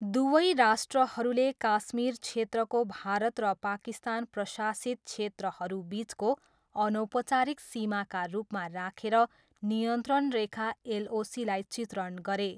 दुवै राष्ट्रहरूले काश्मीर क्षेत्रको भारत र पाकिस्तान प्रशासित क्षेत्रहरू बिचको अनौपचारिक सीमाका रूपमा राखेर नियन्त्रण रेखा एलओसीलाई चित्रण गरे।